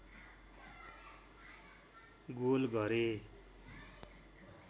goal गरे